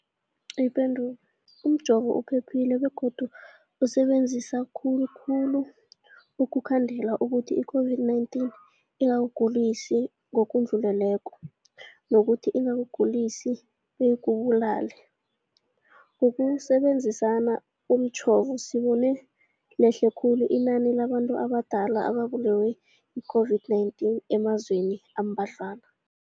Ipendulo, umjovo uphephile begodu usebenza kuhle khulu ukukhandela ukuthi i-COVID-19 ingakugulisi ngokudluleleko, nokuthi ingakugulisi beyikubulale. Ngokusebe nzisa umjovo, sibone lehle khulu inani labantu abadala ababulewe yi-COVID-19 emazweni ambadlwana.